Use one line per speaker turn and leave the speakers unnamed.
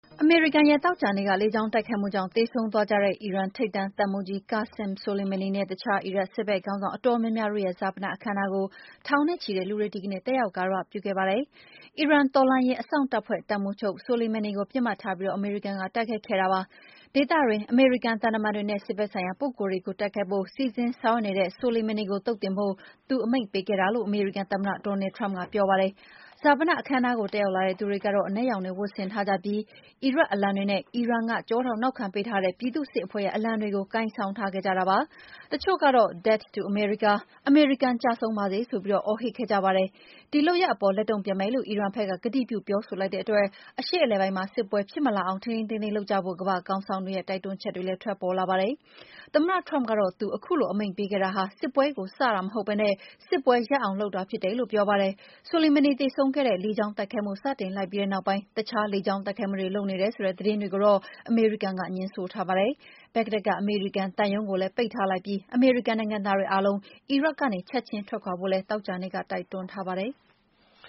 အမေရိကန်ရဲ့ သောကြာနေ့ လေကြောင်းတိုက်ခိုက်မှုကြောင့် သေဆုံးသွားကြတဲ့ အီရန်ထိပ်တန်း တပ်မှူးကြီး Qassem Soleimani နဲ့ အခြား အီရတ်စစ်ဘက်ခေါင်းဆောင် အတော်များများတို့ရဲ့ ဈာပနအခမ်းအနားကို ထောင်နဲ့ချီတဲ့လူတွေ ဒီကနေ့ တက်ရောက် ဂါရဝပြုခဲ့ကြပါတယ်။ အီရန်တော်လှန်ရေးအစောင့်တပ်ဖွဲ့ တပ်မှူးချုပ် Soleimani ကို ပစ်မှတ်ထားပြီး အမေရိကန်က တိုက်ခိုက်ခဲ့တာပါ။ ဒေသတွင်း အမေရိကန် သံတမန်တွေနဲ့ စစ်ဘက်ဆိုင်ရာ ပုဂ္ဂိုလ်တွေကို တိုက်ခိုက်ဖို့ စီစဉ်ဆောင်ရွက်နေတဲ့ Soleimani ကို သုတ်သင်ဖို့ သူအမိန့်ပေးခဲ့တာလို့ အမေရိကန်သမ္မတ Donald Trump က ပြောပါတယ်။ ဈာပနအခမ်းအနားကို တက်ရောက်လာတဲ့သူတွေက အနက်ရောင်တွေ ဝတ်ဆင်ထားကြပြီး အီရတ်အလံတွေနဲ့ အီရန်က ကျောထောက်နောက်ခံ ပေးထားတဲ့ ပြည်သူ့စစ်အဖဲ့ွရဲ့ အလံတွေကို ကိုင်ဆောင်ထားကြတာပါ။ တချို့ကတော့ “Death to America” အမေရိကန် ကျဆုံးပါစေဆိုပြီး အော်ဟစ်ခဲ့ကြပါတယ်။ ဒီလုပ်ရပ်အပေါ် လက်တုံ့ပြန်မယ်လို့ အီရန်ဘက်က ကတိပြု ပြောဆိုလိုက်တဲ့အတွက် အရှေ့အလယ်ပိုင်းမှာ စစ်ပွဲဖြစ်မလာအောင် ထိန်းထိန်းသိမ်းသိမ်း လုပ်ကြဖို့ ကမ္ဘာ့ခေါင်းဆောင်တွေရဲ့ တိုက်တွန်းချက်တွေ ထွက်ပေါ်လာပါတယ်။ သမ္မတ Trump ကတော့ သူ ခုလို အမိန့်ပေးခဲ့တာဟာ စစ်ပွဲကိုစဖို့မဟုတ်ဘဲ စစ်ပွဲရပ်အောင်လုပ်တာ ဖြစ်တယ်လို့ ပြောပါတယ်။ Soleimani သေဆုံးစေခဲ့တဲ့ လေကြောင်းတိုက်ခိုက်မှု စတင်လိုက်ပြီးတဲ့ နောက်ပိုင်း အခြား လေကြောင်းတိုက်ခိုက်မှုတွေ လုပ်နေတယ်ဆိုတဲ့ သတင်းတွေကိုတော့ အမေရိကန်က ငြင်းဆိုထားပါတယ်။ ဘဂ္ဂဒက်က အမေရိကန်သံရုံးကိုလည်း ပိတ်ထားလိုက်ပြီး အမေရိကန် နိုင်ငံသားတွေအားလုံး အီရတ်ကနေ ချက်ချင်းထွက်ခွာဖို့လည်း သောကြာနေ့က တိုက်တွန်းထားပါ
တယ်။